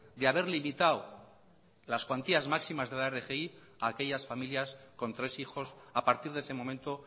de haber limitado las cuantías máximas de la rgi a aquellas familias con tres hijos a partir de ese momento